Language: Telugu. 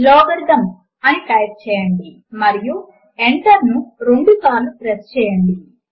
Logarithms అని టైప్ చేయండి మరియు Enter ను రెండుసార్లు ప్రెస్ చేయండి